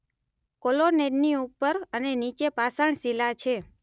કૉલોનેડની ઉપર અને નીચે પાષાણ શિલા છે